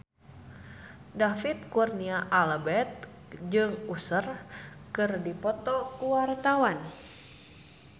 David Kurnia Albert jeung Usher keur dipoto ku wartawan